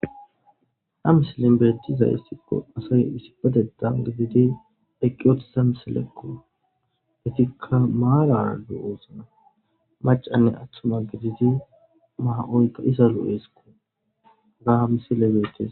a misilin bettizayes tikko asay isipededan gididi eqqi othita misilekku detikka maara adu oosna macanne aththuma gididi maa7oyka isalu7eesikko gaa misile beettes